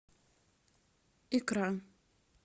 икра